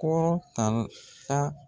Kɔrɔ tal ka